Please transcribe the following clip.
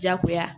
Jagoya